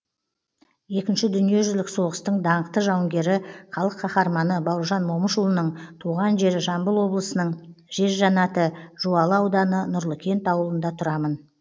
екінші дүниежүзілік соғыстың даңқты жауынгері халық қаһарманы бауыржан момышұлының туған жері жамбыл облысының жер жәннаты жуалы ауданы нұрлыкент ауылында тұрамын